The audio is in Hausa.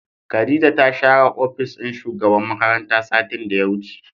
Khadijah ta share opis din shugaban makaranta satin da ya wuce.